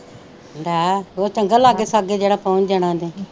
ਲੈ ਉਹ ਚੰਗਾ ਲਾਗੇ ਸ਼ਾਗੇ ਜਿਹੜਾ ਪਹੁਚ ਜਾਣਾ ਉਹਨੇ